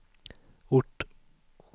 ort